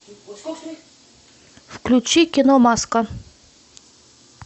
включи кино маска